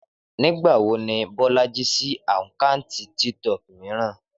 Nígbà wo ni Bọ́lájí ṣí àkáǹtì TikTok mìíràn?